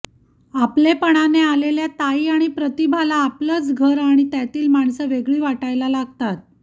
आपलेपणाने आलेल्या ताई आणि प्रतिभाला आपलंच घर आणि त्यातली माणसं वेगळी वाटायला लागतात